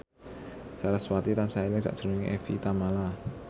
sarasvati tansah eling sakjroning Evie Tamala